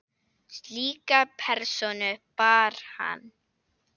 Slíka persónu bar hann.